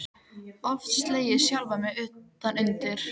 Oft slegið sjálfan mig utan undir.